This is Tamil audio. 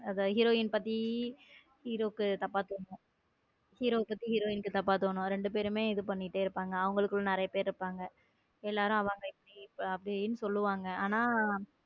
hero யின்பத்தி hero க்கு தப்பா தோணும் hero பத்தி hero பத்தி hero யினை hero யின்க்கு தப்பா தோணும் ரெண்டு பேருமே இது பண்ணிட்டு இருப்பாங்க அவங்களுக்குள்ள நிறைய பேர் இருப்பாங்க எல்லாரும் அவங்க எப்படி சொல்லுவாங்க ஆனா.